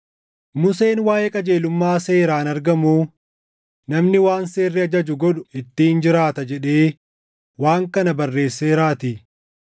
Museen waaʼee qajeelummaa seeraan argamuu, “Namni waan seerri ajaju godhu ittiin jiraata” + 10:5 \+xt Lew 18:5\+xt* jedhee waan kana barreesseeraatii.